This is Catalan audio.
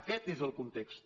aquest és el context